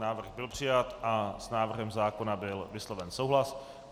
Návrh byl přijat a s návrhem zákona byl vysloven souhlas.